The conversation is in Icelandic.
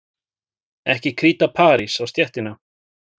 Ekki kríta parís á stéttina.